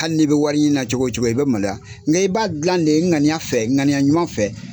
Hali n'i bɛ wari ɲini na cogo o cogo, i bɛ maloya, nka i b'a dilan de ŋaniya fɛ ŋaniya ɲuman fɛ.